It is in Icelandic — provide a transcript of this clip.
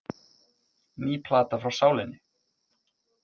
Ný plata frá Sálinni